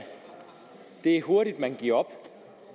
hurtigt at man giver op